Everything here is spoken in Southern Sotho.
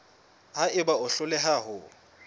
ha eba o hloleha ho